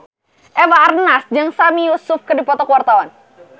Eva Arnaz jeung Sami Yusuf keur dipoto ku wartawan